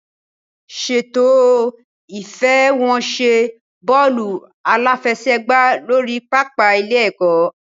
Ṣètò ìfẹsẹ̀wọnsẹ̀ bọ́ọ̀lù aláfẹsẹ̀gbá lórí pápá ilé-ẹ̀kọ́.